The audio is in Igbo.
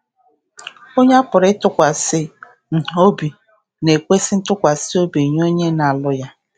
Onye a pụrụ ịtụkwasị um obi na-ekwesị ntụkwasị obi nye onye na-alụ ya.